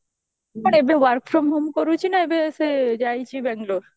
but ଏବେ work from home କରୁଛି ନା ଏବେ ସେ ଯାଇଛି ବାଙ୍ଗାଲୋର